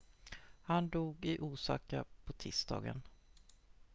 han dog i osaka på tisdagen